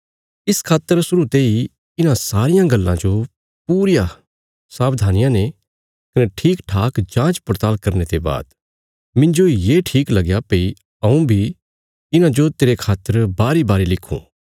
इस खातर शुरु तेई इन्हां सारियां गल्लां जो पूरी सावधानिया ने कने ठीकठाक जाँच पड़ताल़ करने ते बाद मिन्जो ये ठीक लगया भई हऊँ बी इन्हांजो तेरे खातर बारीबारी लिखुं